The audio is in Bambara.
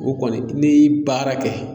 O kɔni ne ye baara kɛ.